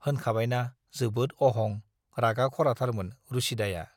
होनखाबायना जोबोद अहं, रागा खराथारमोन रुसिदाया।